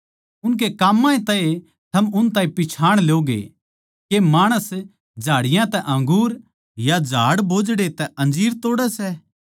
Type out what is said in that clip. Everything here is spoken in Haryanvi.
उनकै काम्मां तै ए थम उन ताहीं पिच्छाण ल्योगे के माणस झाड़ियाँ तै अंगूर या झाड़ बोझड़े तै अंजीर तोड़ै सै